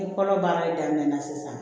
Ni kɔlɔ baara daminɛna sisan